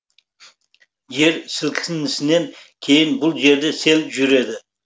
жер сілкінісінен кейін бұл жерде сел жүреді